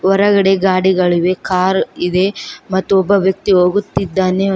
ಹೊರಗಡೆ ಗಾಡಿಗಳಿವೆ ಕಾರ್ ಇದೆ ಮತ್ತು ಒಬ್ಬ ವ್ಯಕ್ತಿ ಹೋಗುತ್ತಿದ್ದಾನೆ.